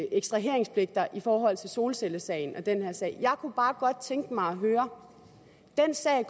ekstraheringspligter i forhold til solcellesagen og den her sag jeg kunne bare godt tænke mig at høre